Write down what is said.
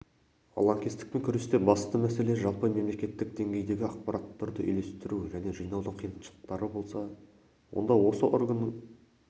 лаңкестікпен күресте басты мәселе жалпы мемлекеттік деңгейдегі ақпараттарды үйлестіру және жинаудың қиыншылықтары болса онда осы органның